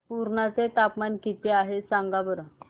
पुर्णा चे तापमान किती आहे सांगा बरं